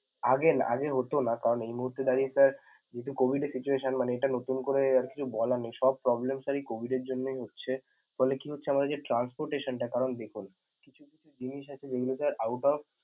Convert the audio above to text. আগে না~ আগে হত না কারন এই মুহুর্তে দাঁড়িয়ে sir যেহেতু COVID এর situation মানে এটা নতুন করে আর বলার নেই, সব problem এই COVID এর জন্যই হচ্ছে ফলে কি হচ্ছে এই transportation টা করাই বিফল কিছু কিছু জিনিস আছে যেগুলো out of ।